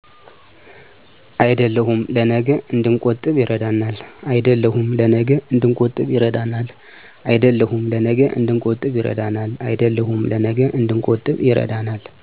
አይደለሁም ለነገ እድንቆጥብ ይረዳናል።